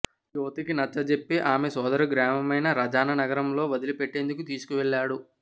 యువతికి నచ్చజెప్పి ఆమె సోదరి గ్రామమైన రజానగరంలో వదిలి పెట్టేందుకు తీసుకువెళ్లాడు